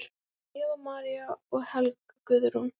Eva María og Helga Guðrún.